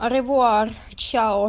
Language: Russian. оревуар чао